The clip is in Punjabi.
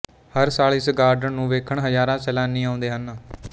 ਹਰ ਸਾਲ ਇਸ ਗਾਰਡਨ ਨੂੰ ਵੇਖਣ ਹਜ਼ਾਰਾਂ ਸੈਲਾਨੀ ਆਉਂਦੇ ਹਨ